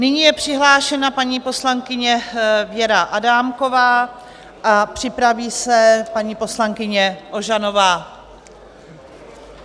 Nyní je přihlášena paní poslankyně Věra Adámková a připraví se paní poslankyně Ožanová.